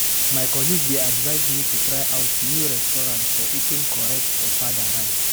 My colleague dey advise me to try out new restaurant for eating correct ofada rice.